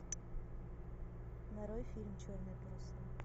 нарой фильм черные паруса